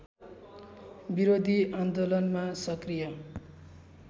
विरोधी आन्दोलनमा सक्रिय